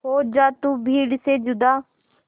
हो जा तू भीड़ से जुदा